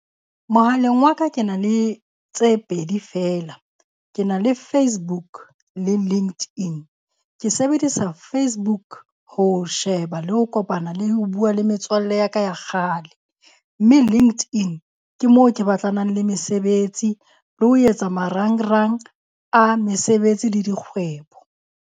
Mohaleng wa ka ke na le tse pedi feela. Ke na le Facebook le LinkedIn. Ke sebedisa Facebook ho sheba le ho kopana le ho bua le metswalle ya ka ya kgale. Mme LinkedIn ke moo ke batlanang le mesebetsi le ho etsa marangrang a mesebetsi le dikgwebo.